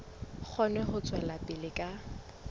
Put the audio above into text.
kgone ho tswela pele ka